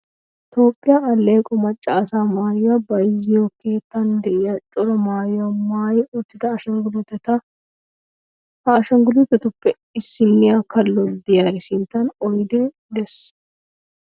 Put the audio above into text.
Toophphiyaa alleeqo macca asaa maayuwaa bayizziyoo keettan de'iyaa cora maayuwaa maayi uttida ashangulliiteta. Ha ashangullitetuppe issiniyaa kallo de'iyaari sinttan oydee de'es.